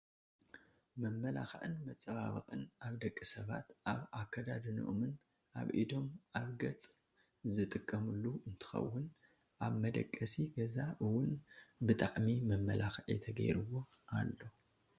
መመላክዒን መፃበበቅን ኣብ ደቂ ሰባት ኣብ ኣዳድነኦምን ኣብ ኢዶም ኣብ ገፅን ዝጥቀምሉ እንትከውን ኣብመደቀሲ ገዛ እውን ብጣዕሚ መመላክዒ ተገይርዎ ኣሎ።